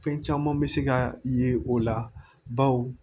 Fɛn caman bɛ se ka ye o la bawo